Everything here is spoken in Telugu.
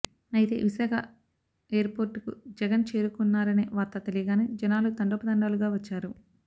అయితే విశాఖ ఎయిర్పోర్టుకు జగన్ చేరుకున్నారనే వార్త తెలియగానే జనాలు తండోపతండాలుగా వచ్చారు